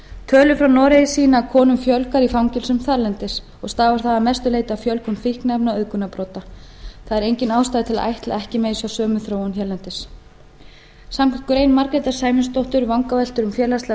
frá noregi sýna að konum fjölgar í fangelsum þarlendis og stafar það að mestu leyti af fjölgun fíkniefna og auðgunarbrota það er engin ástæða til að ætla að ekki megi sjá sömu þróun hérlendis samkvæmt grein margrétar sæmundsdóttur um vangaveltur um félagslega